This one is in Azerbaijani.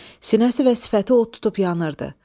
Sinəsi və sifəti od tutub yanırdı.